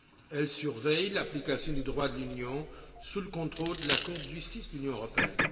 Elle surveille l'application du droit de l'Union sous le contrôle de la Cour de justice de l'Union européenne.